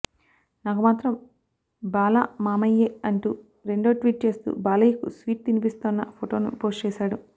నాకు మాత్రం బాలా మామయ్యే అంటూ రెండో ట్వీట్ చేస్తూ బాలయ్యకు స్వీట్ తినిపిస్తోన్న ఫోటోను పోస్ట్ చేసాడు